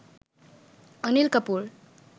Anil Kapoor